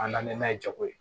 An na na ni n'a ye jago ye